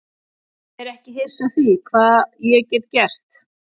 Ég er ekki hissa á því hvað ég get gert.